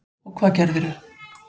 Og hvað gerðirðu?